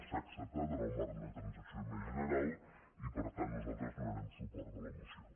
s’ha acceptat en el marc d’una transacció més general i per tant nosaltres donarem suport a la moció